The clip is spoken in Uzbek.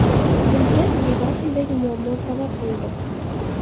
Bunga dvigateldagi muammo sabab bo‘ldi.